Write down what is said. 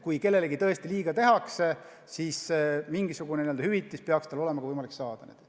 Kui kellelegi tõesti on liiga tehtud, siis mingisugust hüvitist peaks tal olema võimalik saada.